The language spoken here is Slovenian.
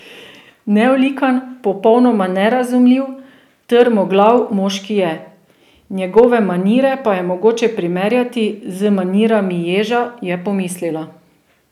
Neolikan, popolnoma nerazumljiv, trmoglav moški je, njegove manire pa je mogoče primerjati z manirami ježa, je pomislila.